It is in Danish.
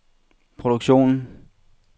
produktionen